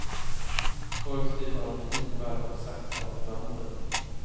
Förr slipade de knivar och saxar åt bönder.